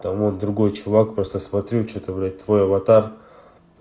там вот другой чувак просто смотрю что-то блядь твой аватар